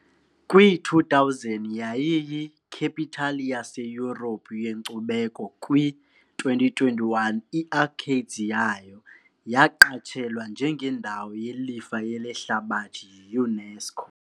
Kwi -2000 yayiyi " capital yaseYurophu yenkcubeko ", kwi -2021 i-arcades yayo yaqatshelwa njengendawo yelifa lehlabathi yi -UNESCO .